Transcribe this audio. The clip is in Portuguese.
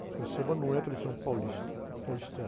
Escola de Samba não é tradição paulista, paulistana.